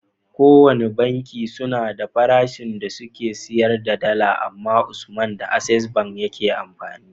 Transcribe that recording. Kowane banki suna da farashin da suke siyar da dala amma usman da access bank yake amfani